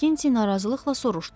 Makkinti narazılıqla soruşdu.